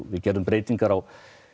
við gerðum breytingar á